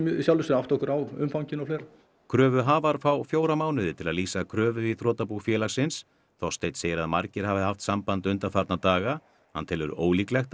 átta okkur á umfanginu og fleira kröfuhafar fá fjóra mánuði til að lýsa kröfu í þrotabú félagsins Þorsteinn segir að margir hafi haft samband undanfarna daga hann telur ólíklegt